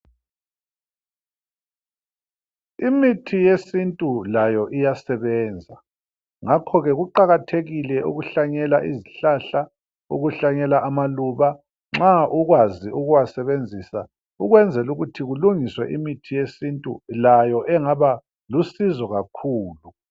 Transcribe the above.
Imithi yesiNtu layo iyasebenza ngakhoke kuqakathekile ukuhlanyela izihlahla, ukuhlanyela amaluba nxa ukwazi ukuwasebenzisa ukwenzela ukuthi kulungiswe imithi yesiNtu layo engaba lusizo kakhulu.